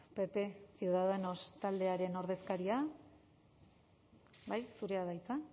pp ciudadanos taldearen ordezkaria bai zurea da hitza